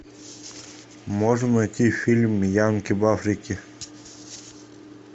можем найти фильм янки в африке